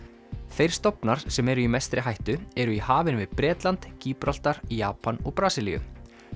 þeir stofnar sem eru í mestri hættu eru í hafinu við Bretland Japan og Brasilíu